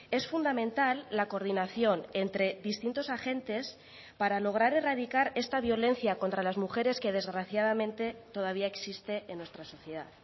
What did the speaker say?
es fundamental la coordinación entre distintos agentes para lograr erradicar esta violencia contra las mujeres que desgraciadamente todavía existe en nuestra sociedad